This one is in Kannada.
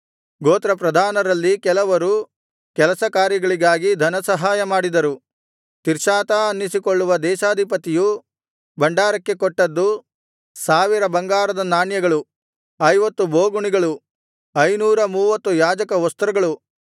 ಗೋತ್ರಪ್ರಧಾನರಲ್ಲಿ ಕೆಲವರು ಕೆಲಸಕಾರ್ಯಗಳಿಗಾಗಿ ಧನ ಸಹಾಯ ಮಾಡಿದರು ತಿರ್ಷಾತಾ ಅನ್ನಿಸಿಕೊಳ್ಳುವ ದೇಶಾಧಿಪತಿಯು ಭಂಡಾರಕ್ಕೆ ಕೊಟ್ಟದ್ದು ಸಾವಿರ ಬಂಗಾರದ ನಾಣ್ಯಗಳು ಐವತ್ತು ಬೋಗುಣಿಗಳು ಐನೂರಮೂವತ್ತು ಯಾಜಕವಸ್ತ್ರಗಳು